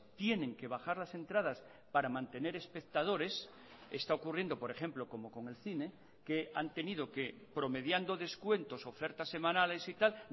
tienen que bajar las entradas para mantener espectadores está ocurriendo por ejemplo como con el cine que han tenido que promediando descuentos ofertas semanales y tal